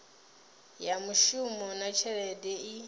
ya mishumo na tshelede i